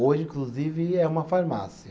Hoje, inclusive, é uma farmácia.